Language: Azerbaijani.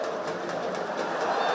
Qarabağ!